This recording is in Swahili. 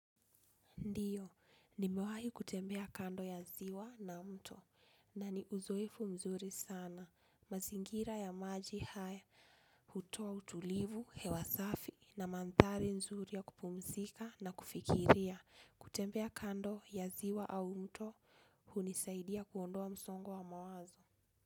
Ndiyo, nimewahi kutembea kando ya ziwa na mto na ni uzoefu mzuri sana. Mazingira ya maji haya, hutoa utulivu, hewa safi na mantari nzuri ya kupumzika na kufikiria. Kutembea kando ya ziwa au mto hunisaidia kuondoa msongo wa mawazo.